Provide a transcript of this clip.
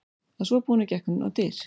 Að svo búnu gekk hún á dyr.